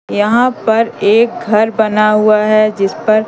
यहां पर एक घर बना हुआ है जिस पर--